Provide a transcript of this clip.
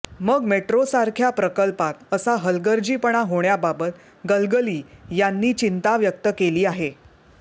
मग मेट्रो सारख्या प्रकल्पात असा हलगर्जीपणा होण्याबाबत गलगली यांनी चिंता व्यक्त केली आहे